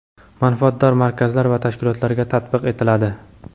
manfaatdor markazlar va tashkilotlarga tatbiq etiladi.